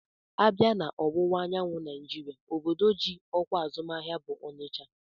A bịa na ọwụwa anyanwụ Naijiria obodo ji ọkwa azụmahịa bụ Ọnịcha